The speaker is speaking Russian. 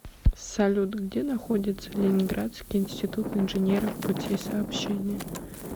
салют где находится ленинградский институт инженеров путей сообщения